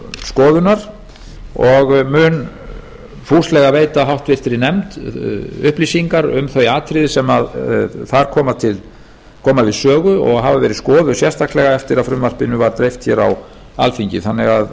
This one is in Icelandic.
skoðunar og mun fúslega veita háttvirtur nefnd upplýsingar um þau atriði sem þar koma við sögu og hafa verið skoðuð sérstaklega eftir að frumvarpinu var dreift hér á alþingi þannig að